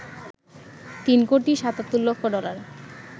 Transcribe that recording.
৩ crore ৭৭ lakh dollar